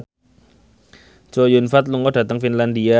Chow Yun Fat lunga dhateng Finlandia